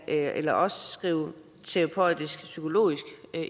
eller også skrive terapeutiskpsykologisk